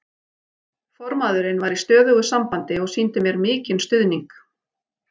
Formaðurinn var í stöðugu sambandi og sýndi mér mikinn stuðning.